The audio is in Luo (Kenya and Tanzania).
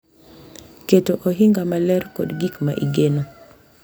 Keto ohinga maler kod gik ma igeno